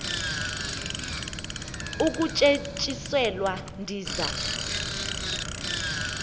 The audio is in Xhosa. ukutye tyiselwa ndiza